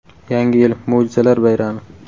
Yangi yil – mo‘jizalar bayrami.